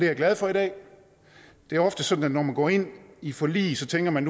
jeg glad for i dag det er ofte sådan at når man går ind i forlig tænker man